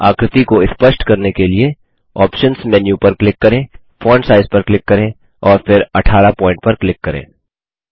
आकृति को स्पष्ट करने के लिए आप्शंस मेन्यू पर क्लिक करें फोंट साइज पर क्लिक करें और फिर 18 पॉइंट पर क्लिक करें